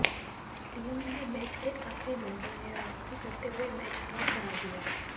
Leone ने match के आखिरी मिनटों में वापसी करते हुए मैच ड्रॉ करा दिया